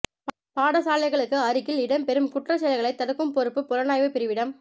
பாடசாலைகளுக்கு அருகில் இடம்பெறும் குற்றச் செயல்களை தடுக்கும் பொறுப்பு புலனாய்வுப் பிரிவிடம்